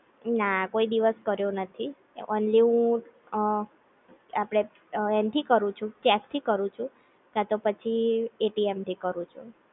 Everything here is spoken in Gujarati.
ના કોઈ દિવસ કર્યો નથી ઓન્લી હું અ આપડે એન થી કરું છું કેશ થી કરું છું, કા તો પછી એટીએમ થી કરું છું